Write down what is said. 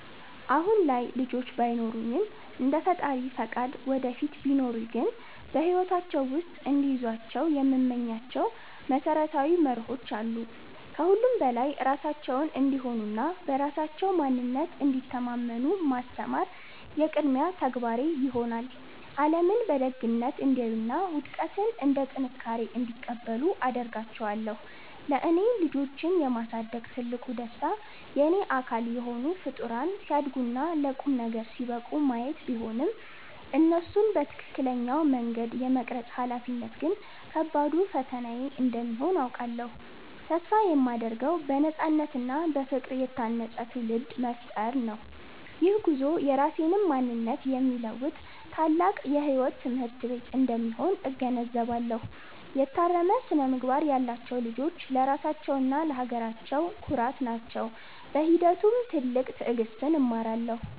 አሁን ላይ ልጆች ባይኖሩኝም፣ እንደ ፈጣሪ ፈቃድ ወደፊት ቢኖሩኝ ግን በሕይወታቸው ውስጥ እንዲይዟቸው የምመኛቸው መሰረታዊ መርሆዎች አሉ። ከሁሉም በላይ ራሳቸውን እንዲሆኑና በራሳቸው ማንነት እንዲተማመኑ ማስተማር የቅድሚያ ተግባሬ ይሆናል። ዓለምን በደግነት እንዲያዩና ውድቀትን እንደ ጥንካሬ እንዲቀበሉ አደርጋቸዋለሁ። ለእኔ ልጆችን የማሳደግ ትልቁ ደስታ የእኔ አካል የሆኑ ፍጡራን ሲያድጉና ለቁም ነገር ሲበቁ ማየት ቢሆንም፣ እነሱን በትክክለኛው መንገድ የመቅረጽ ኃላፊነት ግን ከባዱ ፈተናዬ እንደሚሆን አውቃለሁ። ተስፋ የማደርገው በነፃነትና በፍቅር የታነፀ ትውልድ መፍጠር ነው። ይህ ጉዞ የራሴንም ማንነት የሚለውጥ ታላቅ የሕይወት ትምህርት ቤት እንደሚሆን እገነዘባለሁ። የታረመ ስነ-ምግባር ያላቸው ልጆች ለራሳቸውና ለሀገራቸው ኩራት ናቸው። በሂደቱም ትልቅ ትዕግሥትን እማራለሁ።